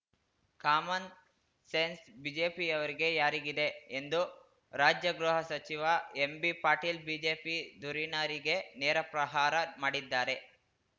common sense ಬಿಜೆಪಿಯವರಿಗೆ ಯಾರಿಗಿದೆ ಎಂದು ರಾಜ್ಯ ಗೃಹ ಸಚಿವ ಎಂಬಿಪಾಟೀಲ್ ಬಿಜೆಪಿ ಧುರೀಣರಿಗೆ ನೇರ ಪ್ರಹಾರ ಮಾಡಿದ್ದಾರೆ